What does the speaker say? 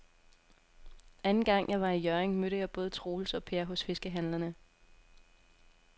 Anden gang jeg var i Hjørring, mødte jeg både Troels og Per hos fiskehandlerne.